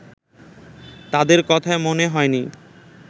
তাদের কথায় মনে হয় নি